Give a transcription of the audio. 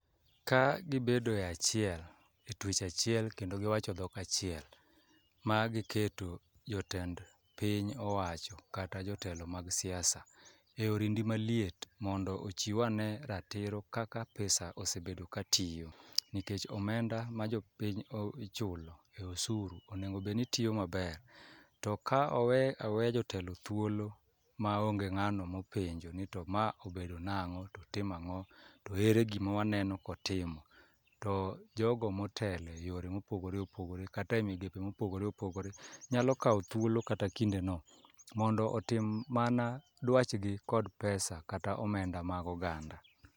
Ka gibedo e achiel, e twech achiel kendo giwacho dhok achiel ma giketo jotend piny owacho kata jotelo mag siasa. E orindi maliet mondo ochiw ane ratiro kaka pesa ose bedo ka tiyo, nikech omenda ma jopiny o ichulo e osuru, onego bedni tiyo maber. To ka owe aweya jotelo thuolo ma onge mano mopenjo ni to ma obedo nang'o to tima ng'o to ere gima waneno kotimo? To jogo motele yore mopogore opogore kata e migepe mopogore opogore, nyalo kawo thuolo kata kinde no mondo otim mana dwach gi kod pesa kata omenda mag oganda.